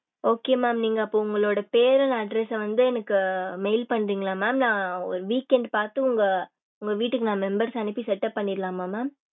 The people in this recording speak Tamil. okay mam நீங்க அப்போ உங்களோட பேரு and address ஆஹ் வந்து எனக்கு mail பண்றீகள mam நா ஒரு weekend பாத்து உங்க உங்க வீட்டுக்கு நான் members அனுப்பி setup பண்ணிரலாமா mam